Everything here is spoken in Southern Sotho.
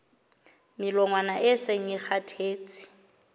melongwana e seng e kgathetse